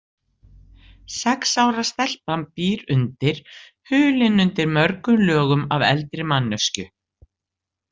Sex ára stelpan býr undir, hulin undir mörgum lögum af eldri manneskju.